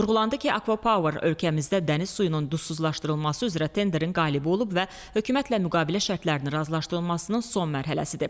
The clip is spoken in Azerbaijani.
Vurğulandı ki, Akva Power ölkəmizdə dəniz suyunun duzsuzlaşdırılması üzrə tenderin qalibi olub və hökumət və müqavilə şərtlərini razılaşdırılmasının son mərhələsidir.